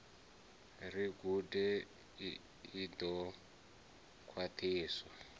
ri gude i ḓo khwaṱhiswa